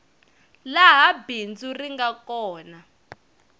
laha bindzu ri nga kona